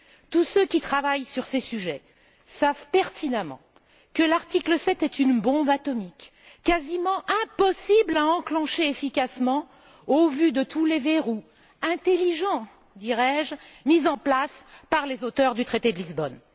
Tous ceux qui travaillent sur ces sujets savent pertinemment que l'article 7 est une bombe atomique, quasiment impossible à enclencher efficacement, au vu de tous les verrous intelligents, dirais je, mis en place par les auteurs du traité de Lisbonne.